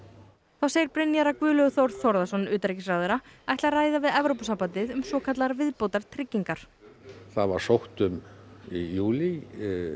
þá segir Brynjar að Guðlaugur Þór Þórðarson ætli að ræða við Evrópusambandið um svokallaðar viðbótartryggingar það var sótt um í júlí